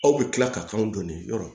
Aw bɛ tila ka k'anw donni yɔrɔ